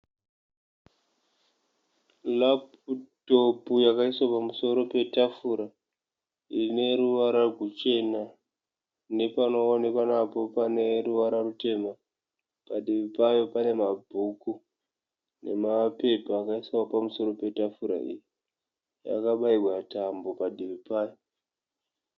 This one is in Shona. Laptop yakaiswa pamusoro petafura ine ruvara ruchena, nepanowanikwa napo pane ruvara ru tema, padivi payo pane ma bhuku nema pepa akaiswa pamusoro petafura iyi yakabairwa tambo padivi payo.